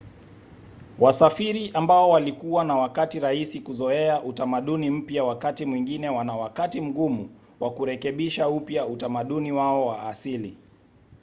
wasafiri ambao walikuwa na wakati rahisi kuzoea utamaduni mpya wakati mwingine wana wakati mgumu wa kurekebisha upya utamaduni wao wa asili